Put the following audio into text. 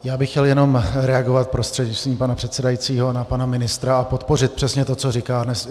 Já bych chtěl jenom reagovat prostřednictvím pana předsedajícího na pana ministra a podpořit přesně to, co říkal.